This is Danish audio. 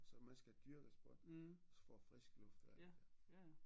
Så man skal dyrke sport også for at frisk luft og alt det der